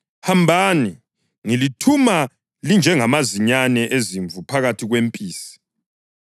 Hambani! Ngilithuma linjengamazinyane ezimvu phakathi kwempisi.